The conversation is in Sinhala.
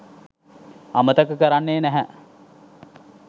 අමතක කරන්නේ නැහැ.